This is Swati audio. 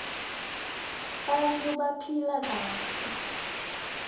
tbanta baphile kahle